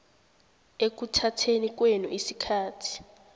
ekuthatheni kwenu isikhathi